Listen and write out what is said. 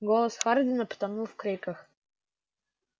голос хардина потонул в криках